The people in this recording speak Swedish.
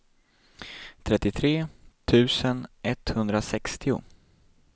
trettiotre tusen etthundrasextio